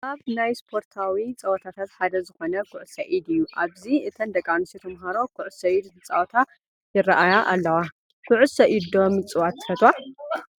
ካብ ናይ ስፖርታዊ ፀወታታት ሓደ ዝኾነ ኩዕሶ ኢድ እዩ፡፡ ኣብዚ እተን ደቂ ኣንስትዮ ተምሃሮ ኩዕሶ ኢድ እንትፃወታ ይራኣያ ኣለዋ፡፡ ኩዕሶ ኢድ ዶ ምፅዋት ትፈትዋ?